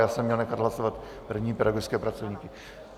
Já jsem měl nechat hlasovat první pedagogické pracovníky.